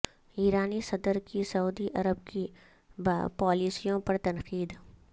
ایرانی صدر کی سعودی عرب کی پالیسیوں پر تنقید